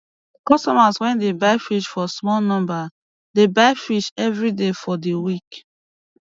customers wey dey buy fish for small number dey buy fish evri day for di week